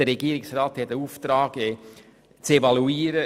Der Regierungsrat hat den Auftrag zu evaluieren.